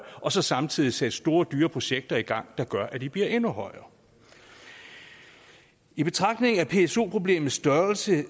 og så samtidig sætte store dyre projekter i gang der gør at de bliver endnu højere i betragtning af pso problemets størrelse